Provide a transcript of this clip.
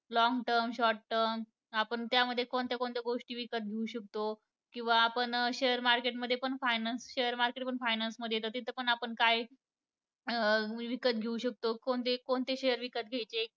Long term, short term आपण त्यामध्येच कोणत्या कोणत्या गोष्टी विकत घेऊ शकतो, किंवा आपण share market मध्ये पण finance~ share market पण finance मध्ये येतं, तिथं पण आपण काय अं विकत घेऊ शकतो, कोणते कोणते share विकत घ्यायचे,